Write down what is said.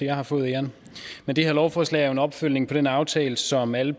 jeg har fået æren det her lovforslag er jo en opfølgning på den aftale som alle